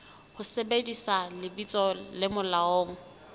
ho sebedisa lebitso le molaong